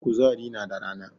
Kuzari na da rana